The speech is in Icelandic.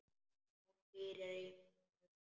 Hún pírir á mig augun.